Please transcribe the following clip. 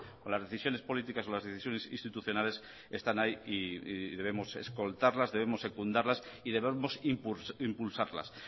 con las decisiones políticas o las decisiones institucionales están ahí y debemos escoltarlas debemos secundarlas y debemos impulsarlas